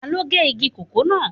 Taló gé igi kòkó náà